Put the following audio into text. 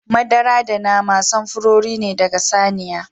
Madara da nama samfurori ne daga saniya.